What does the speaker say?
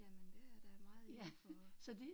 Jamen det er da meget indenfor